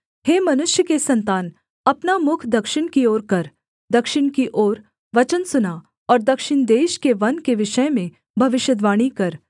हे मनुष्य के सन्तान अपना मुख दक्षिण की ओर कर दक्षिण की ओर वचन सुना और दक्षिण देश के वन के विषय में भविष्यद्वाणी कर